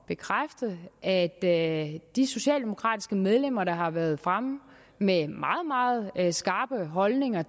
bekræfte at at de socialdemokratiske medlemmer der har været fremme med meget meget skarpe holdninger